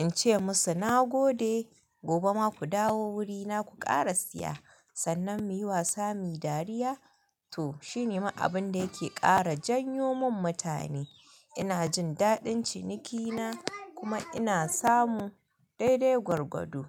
in ce musu na gode, gobe ma ku dawo wurina ku ƙara siya. Sannan muyi wasa muyi dariya to shine ma abun da yake ƙara janyo mun mutane. Ina jin daɗin cinikina kuma ina samun daidai gwargwado.